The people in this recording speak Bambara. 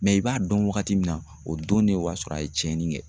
i b'a dɔn wagati min na, o don ne o y'a sɔrɔ a ye cɛnni kɛ.